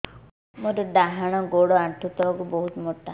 ମୋର ଡାହାଣ ଗୋଡ ଆଣ୍ଠୁ ତଳୁକୁ ବହୁତ ମୋଟା